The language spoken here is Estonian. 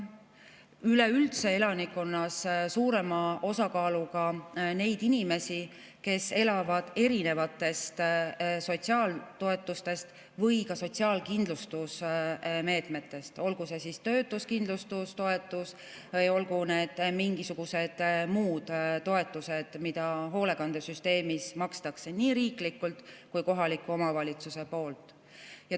Üleüldse on elanikkonnas suurem osakaal nendel inimestel, kes elavad erinevatest sotsiaaltoetustest või ka sotsiaalkindlustusmeetmetest, olgu see töötuskindlustustoetus, olgu need mingisugused muud toetused, mida hoolekandesüsteemis makstakse nii riiklikult kui ka kohaliku omavalitsuse poolt.